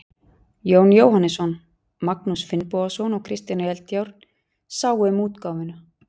Jón Jóhannesson, Magnús Finnbogason og Kristján Eldjárn sáu um útgáfuna.